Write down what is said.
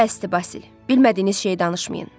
Bəsdir Basil, bilmədiyiniz şeyi danışmayın.